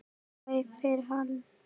æpir hann.